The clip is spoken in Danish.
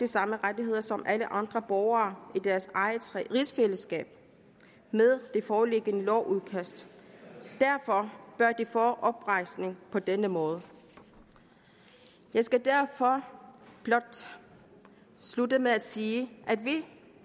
samme rettigheder som alle andre borgere i deres eget rigsfællesskab med det foreliggende lovudkast derfor bør de få oprejsning på denne måde jeg skal derfor blot slutte med at sige at vi